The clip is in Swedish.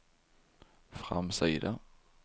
framsida